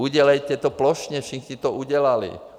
Udělejte to plošně, všichni to udělali.